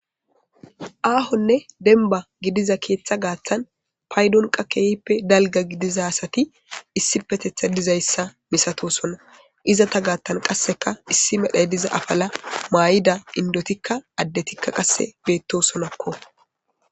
Aahonne denba gidiza keeththa gaaththan paydonqa kehippe dalga gidiza asati issi petetha dizayssa misatosona izata gaatan qasseka issi medhay diza afala maay7ida indotikka addetikka qasse beettosonakko.